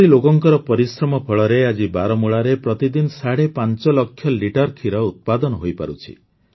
ଏପରି ଲୋକଙ୍କ ପରିଶ୍ରମ ଫଳରେ ଆଜି ବାରାମୂଳାରେ ପ୍ରତିଦିନ ସାଢେ ୫ ଲକ୍ଷ ଲିଟର ଖିର ଉତ୍ପାଦନ ହୋଇପାରୁଛି